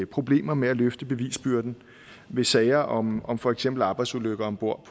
problemer med at løfte bevisbyrden i sager om om for eksempel arbejdsulykker om bord